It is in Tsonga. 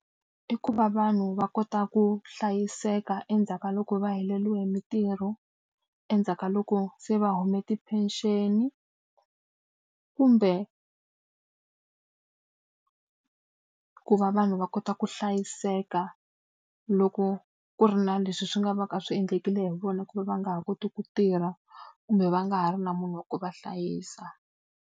I ku va vanhu va kota ku hlayiseka endzhaku ka loko va heleriwe hi mitirho, endzhaku ka loko se va hume ti-pension-i kumbe ku va vanhu va kota ku hlayiseka loko ku ri na leswi swi nga va ka swi endlekile hi vona ku va va nga ha koti ku tirha, kumbe va nga ha ri na munhu wa ku va hlayisa.